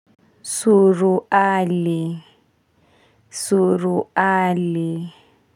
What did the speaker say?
Suruali suruali.